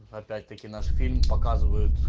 опять-таки наш фильм показывай